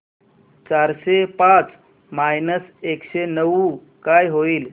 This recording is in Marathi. चारशे पाच मायनस एकशे नऊ काय होईल